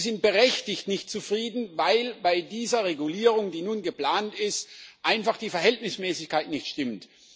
Und sie sind berechtigt nicht zufrieden, weil bei dieser Regulierung, die nun geplant ist, einfach die Verhältnismäßigkeit nicht stimmt.